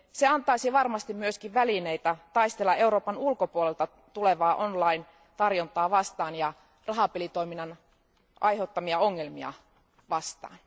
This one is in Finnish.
Se antaisi varmasti myös välineitä taistella Euroopan ulkopuolelta tulevaa online tarjontaa vastaan ja rahapelitoiminnan aiheuttamia ongelmia vastaan.